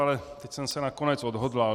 Ale teď jsem se nakonec odhodlal.